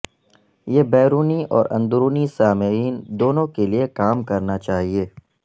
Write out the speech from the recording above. یہ بیرونی اور اندرونی سامعین دونوں کے لئے کام کرنا چاہئے